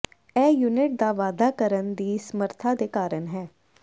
ਇਹ ਯੂਨਿਟ ਦਾ ਵਾਧਾ ਕਰਨ ਦੀ ਸਮਰੱਥਾ ਦੇ ਕਾਰਨ ਹੈ